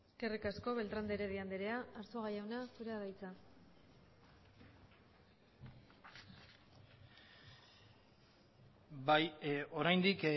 eskerrik asko beltrán de heredia andrea arzuaga jauna zurea da hitza bai oraindik